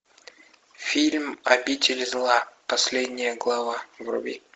фильм обитель зла последняя глава вруби